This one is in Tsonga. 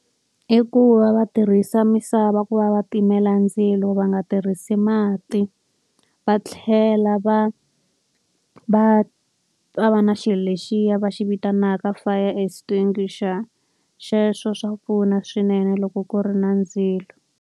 I ku va va tirhisa misava ku va va timela ndzilo va nga tirhisi mati. Va tlhela va va va va na xilo lexiya va xi vitanaka fire extinguisher, xexo swa pfuna swinene loko ku ri na ndzilo.